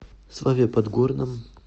славе подгорном